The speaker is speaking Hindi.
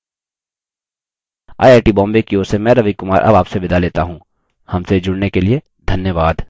आई आई टी बॉम्बे की ओर से मैं रवि कुमार अब आपसे विदा लेता हूँ हमसे जुड़ने के लिए धन्यवाद